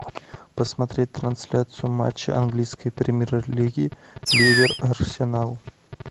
посмотреть трансляцию матча английской премьер лиги ливер арсенал